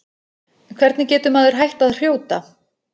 Hvernig getur maður hætt að hrjóta?